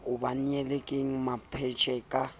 ba nyetseng ke mampetje ba